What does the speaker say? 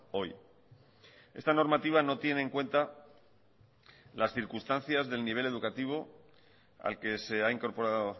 hoy esta normativa no tiene en cuenta las circunstancias del nivel educativo al que se ha incorporado